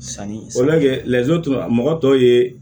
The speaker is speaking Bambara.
Sanni walasa lajo mɔgɔ tɔ ye